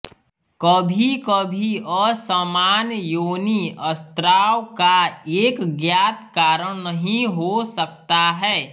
कभीकभी असामान्य योनि स्राव का एक ज्ञात कारण नहीं हो सकता है